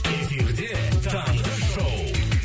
эфирде таңғы шоу